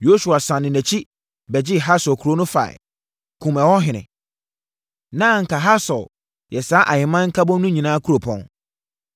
Yosua sane nʼakyi bɛgyee Hasor kuro no faeɛ, kumm ɛhɔ ɔhene. (Na anka Hasor yɛ saa ahemman nkabom no nyinaa kuropɔn.)